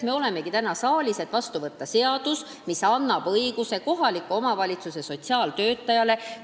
Me olemegi täna siin saalis selleks, et võtta vastu seadus, mis annab kohaliku omavalitsuse sotsiaaltöötajale õiguse tegutseda.